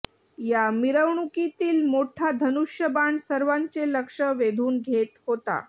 या मिरवणुकीतील मोठा धनुष्यबाण सर्वांचे लक्ष वेधून घेत होता